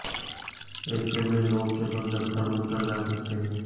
ऎसे में लोग केवल जंतर मंतर जा सकते हैं